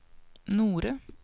Nore